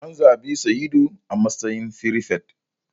An zabi Sa'idu a matsayin firifet.